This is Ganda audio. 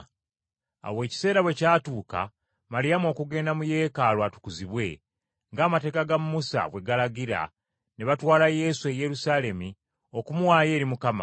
Awo ekiseera bwe kyatuuka Maliyamu okugenda mu Yeekaalu atukuzibwe, ng’amateeka ga Musa bwe galagira ne batwala Yesu e Yerusaalemi okumuwaayo eri Mukama.